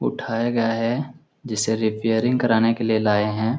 उठाया गया है जिसे रिपेयरिंग कराने के लिए लाए है ।